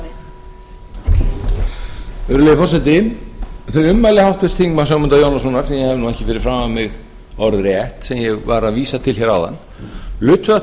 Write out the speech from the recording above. virðulegi forseti þau ummæli háttvirts þingmanns ögmundar jónassonar sem ég hef nú ekki fyrir framan mig orðrétt sem ég var að vísa til hér áðan lutu að